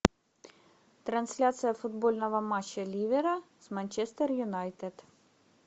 трансляция футбольного матча ливера с манчестер юнайтед